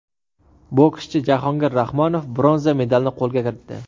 Bokschi Jahongir Rahmonov bronza medalni qo‘lga kiritdi.